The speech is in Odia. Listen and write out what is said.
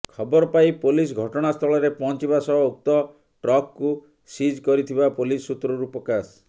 ଖବର ପାଇ ପୋଲିସ ଘଟଣାସ୍ଥଳରେ ପହଞ୍ଚିବା ସହ ଉକ୍ତ ଟ୍ରକକୁ ସିଜ୍ କରିଥିବା ପୋଲିସ ସୁତ୍ରରୁ ପ୍ରକାଶ